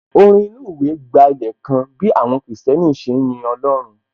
Orin inú ìwé gbálẹ̀ kan bí àwọn kìrìsìtẹ́nì ṣe ń yin Ọlọ́run